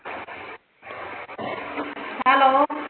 Hello.